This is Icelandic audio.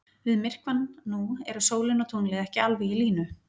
Við myrkvann nú eru sólin og tunglið ekki alveg í línu.